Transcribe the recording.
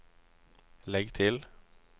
legg til